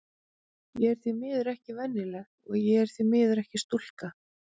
Ég er því miður ekki venjuleg, og ég er því miður ekki stúlka.